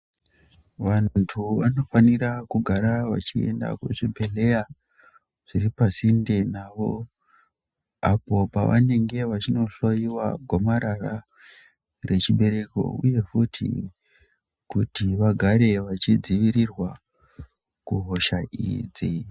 Vantu vanofanira kugara vachienda kuzvibhedhlera zviri pasinde navo. Apo pavanenge vachinohloiwa gomarara rechibereko, uye futi kuti vagare vachidzivirirwa kuhosha idzi.